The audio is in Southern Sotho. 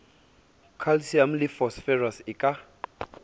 calcium le phosphorus e ka